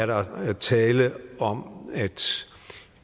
der er tale om at